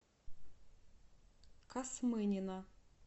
касмынина